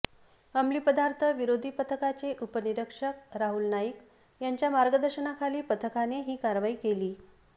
अंमलीपदार्थ विरोधी पथकाचे उपनिरीक्षक राहूल नाईक यांच्या मार्गदर्शनाखाली पथकाने ही कारवाई केली